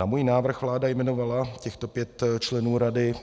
Na můj návrh vláda jmenovala těchto pět členů rady